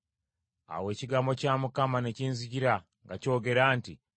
Awo ekigambo kya Mukama ne kinzijira nga kyogera nti,